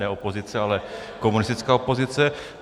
Ne opozice, ale komunistická opozice.